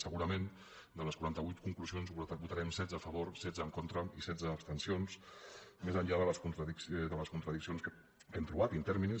segurament de les quaranta vuit conclusions en votarem setze a favor setze en contra i setze abstencions més enllà de les contradiccions que hem trobat in terminis